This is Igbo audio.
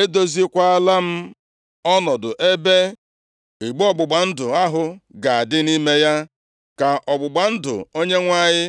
Edoziekwala m ọnọdụ ebe igbe ọgbụgba ndụ ahụ ga-adị, nʼime ya ka ọgbụgba ndụ Onyenwe anyị